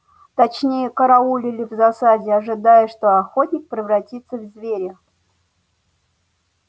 точнее караулили в засаде ожидая что охотник превратится в зверя